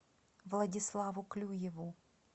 владиславу клюеву